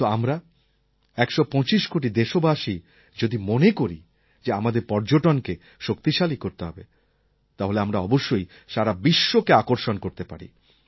কিন্তু আমরা একশো পঁচিশ কোটি দেশবাসী যদি মনে করি যে আমাদের পর্যটনকে শক্তিশালী করতে হবে তাহলে আমরা অবশ্যই সারা বিশ্বকে আকর্ষণ করতে পারি